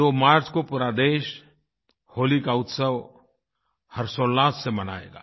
दो मार्च को पूरा देश होली का उत्सव हर्षोल्लास से मनाएगा